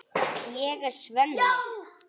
Ég er Svenni.